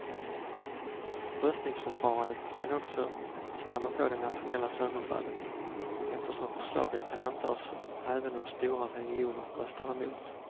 Röstningsförfarandet kan också snabba på det nationella sönderfallet, eftersom förslaget kan antas även om stora regioner röstar emot.